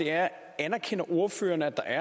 er anerkender ordføreren at der